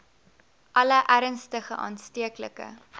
alle ernstige aansteeklike